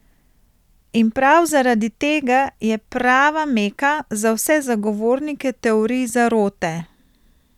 In prav zaradi tega je prava Meka za vse zagovornike teorij zarote.